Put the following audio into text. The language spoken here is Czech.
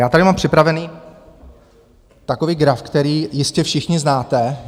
Já tady mám připravený takový graf, který jistě všichni znáte.